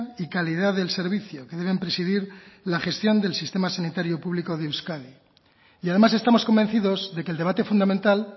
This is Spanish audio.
y calidad del servicio que deben presidir la gestión del sistema sanitario público de euskadi y además estamos convencidos de que el debate fundamental